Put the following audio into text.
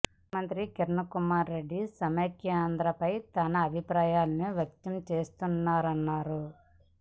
ముఖ్యమంత్రి కిరణ్ కుమార్ రెడ్డి సమైక్యాంధ్ర పైన తన అభిప్రాయాలను వ్యక్తం చేస్తున్నారన్నారు